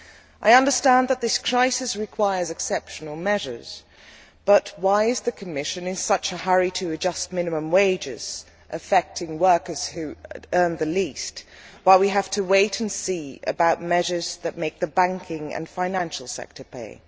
I understand that this crisis requires exceptional measures, but why is the Commission in such a hurry to adjust minimum wages, affecting workers who earn the least, while we have to wait and see about measures that make the banking and financial sector pay?